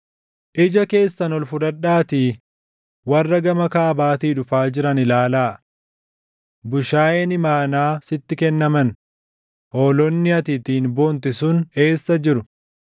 Ija keessan ol fudhadhaatii warra gama kaabaatii dhufaa jiran ilaalaa. Bushaayeen imaanaa sitti kennaman, hoolonni ati ittiin boonte sun eessa jiru?